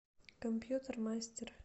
компьютер мастер